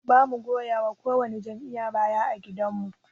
Bamu goyawa ko wani jam'iyya baya ã gidan mu.